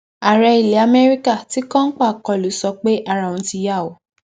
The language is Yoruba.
ààrẹ ilẹ amẹríkà ti kọńpà kọlù sọ pé ara òun ti yá o